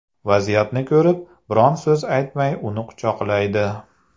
Vaziyatni ko‘rib, biron so‘z aytmay uni quchoqlaydi.